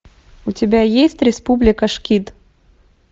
у тебя есть республика шкид